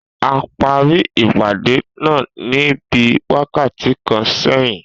A parí ìpàdé náà ní bíí wákàtí kan sẹyin